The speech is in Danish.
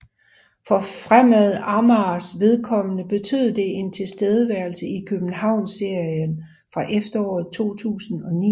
For Fremad Amagers vedkommende betød det en tilværelse i Københavnsserien fra efteråret 2009